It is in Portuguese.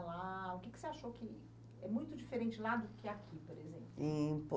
O que você achou que é muito diferente lá do que aqui, por exemplo? Tempo